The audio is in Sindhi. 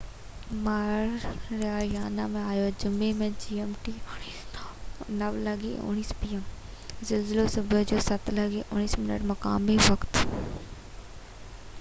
زلزلو صبح جو 07:19 مقامي وقت 09:19 p.m. gmt جمعي تي ماريانا ۾ آيو